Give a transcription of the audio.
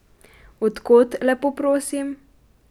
Od kod, lepo prosim?